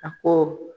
A ko